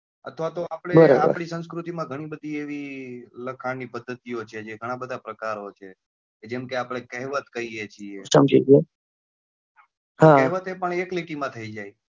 અથવા તો આપડે આપડી સંસ્કૃતિ માં ઘણી બધી એવી લખાણ ની પદ્ધતિ ઓ છે ઘણાં બધા પ્રકારો છે જેમ કે આપડે કહેવત કહીએ છીએ કહેવતો પણ એક લીટી માં થઇ જાય છે.